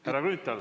Härra Grünthal.